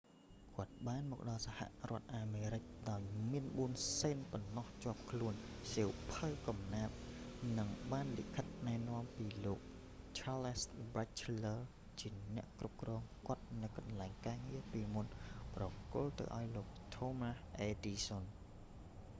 គាត់បានមកដល់សហរដ្ឋអាមេរិកដោយមាន 4 សេនប៉ុណ្ណោះជាប់ខ្លួន សៀវភៅកំណាព្យ និងបានលិខិតណែនាំពីលោកឆាលស៍ ប៊ែចឈែលលើរ charles batchelor ជាអ្នកគ្រប់គ្រងរបស់គាត់នៅកន្លែងការងារពីមុន ប្រគល់ទៅឲ្យលោកថូមាស់ អ៊ែដឌិសសឹន thomas edison